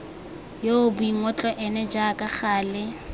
yoo boingotlo ene jaaka gale